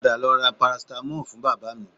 Padà lọ ra parasitamọ́ọ̀ fún bàbá mi